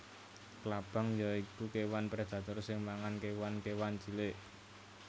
Klabang ya iku kéwan predator sing mangan kéwan kéwan cilik